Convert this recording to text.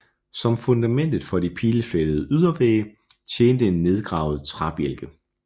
Som fundament for de pileflettede ydervægge tjente en nedgravet træbjælke